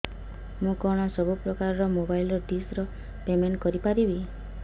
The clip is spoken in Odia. ମୁ କଣ ସବୁ ପ୍ରକାର ର ମୋବାଇଲ୍ ଡିସ୍ ର ପେମେଣ୍ଟ କରି ପାରିବି